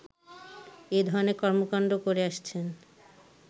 এ ধরনের কর্মকাণ্ড করে আসছেন